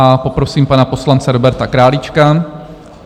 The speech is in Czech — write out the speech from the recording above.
A poprosím pana poslance Roberta Králíčka.